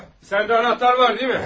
Ah, səndə anahtar var, deyilmi?